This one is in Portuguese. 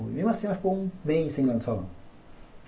Mesmo assim, ela ficou um mês sem ir lá no salão.